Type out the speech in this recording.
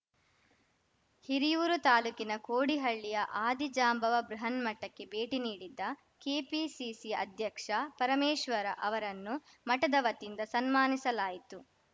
ಹಿರಿಯೂರು ತಾಲೂಕಿನ ಕೋಡಿಹಳ್ಳಿಯ ಆದಿಜಾಂಬವ ಬೃಹನ್ಮಠಕ್ಕೆ ಭೇಟಿ ನೀಡಿದ್ದ ಕೆಪಿಸಿಸಿ ಅಧ್ಯಕ್ಷ ಪರಮೇಶ್ವರ ಅವರನ್ನು ಮಠದ ವತಿಯಿಂದ ಸನ್ಮಾನಿಸಲಾಯಿತು